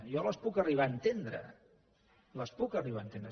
jo les puc arribar a entendre les puc arribar a entendre